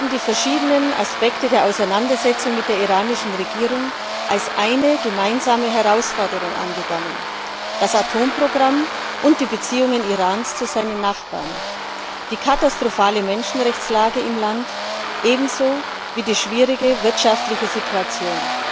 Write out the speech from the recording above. Die verschiedenen Aspekte der Auseinandersetzung mit der iranischen Regierung werden als eine gemeinsame Herausforderung angegangen das Atomprogramm und die Beziehungen des Iran zu seinen Nachbarn, die katastrophale Menschenrechtslage im Land ebenso wie die schwierige wirtschaftliche Situation.